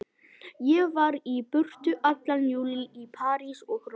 Ég var í burtu allan júlí, í París og Róm.